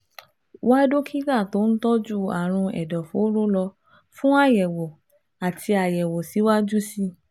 Wá dókítà tó ń tọ́jú àrùn ẹ̀dọ̀fóró lọ fún àyẹ̀wò àti àyẹ̀wò síwájú sí i